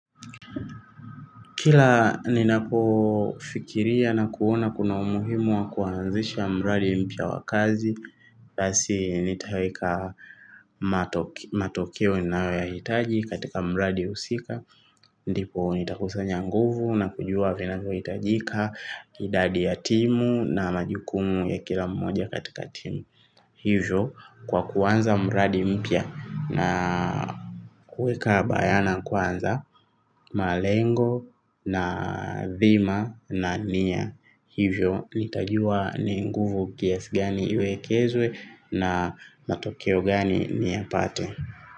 Kila ninapo fikiria na kuona kuna umuhimu wa kuanzisha mradi mpya wa kazi basi nitaweka matokeo ninayo ya hitaji katika mradi husika. Ndipo nitakusanya nguvu na kujua vinavyo hitajika. Idadi ya timu na majukumu ya kila mmoja katika timu hivyo kwa kuanza mradi mpya na kuweka bayana kwanza, malengo na dhima na nia hivyo nitajua ni nguvu kiasi gani iwekezwe na matokeo gani niyapate.